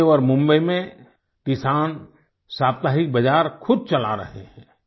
पुणे और मुंबई में किसान साप्ताहिक बाज़ार खुद चला रहे हैं